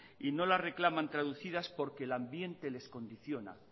y no las reclaman traducidas porque el ambiente les condiciona